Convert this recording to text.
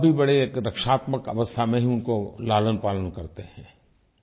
माँबाप भी बड़े रक्षात्मक अवस्था में ही उनका लालनपालन करते हैं